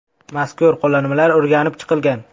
Mazkur qo‘llanmalar o‘rganib chiqilgan.